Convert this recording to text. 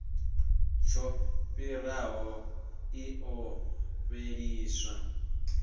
tsho fhiraho i ḓo fheliswa